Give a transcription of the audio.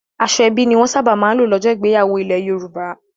Aṣọ ẹbí ni wọ́n sábà ń lò lọ́jọ́ ìgbéyàwó ilẹ̀ Yorùbá.